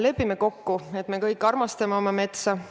Lepime kokku, et me kõik armastame oma metsa!